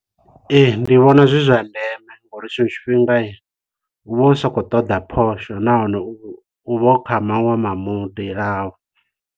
Ee ndi vhona zwi zwa ndeme ngauri tshiṅwe tshifhinga u vha u sa khou ṱoḓa phosho nahone u vha u kha maṅwe ma mudi au.